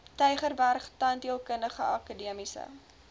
tygerberg tandheelkundige akademiese